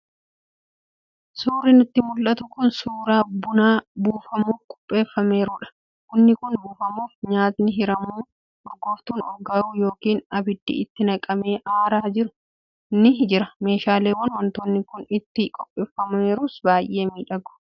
Suurri nutti mul'atu kun suuraa buna buufamuuf qopheeffameerudha. Bunni kun buufamuuf, nyaatni hiramu, urgooftuun urgaa'u yookiin abiddi itti naqamee aaraa jiru ni jira. Meeshaaleen waantonni kun itti qopheeffameeru baay'ee miidhagu.